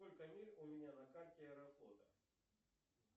сколько миль у меня на карте аэрофлота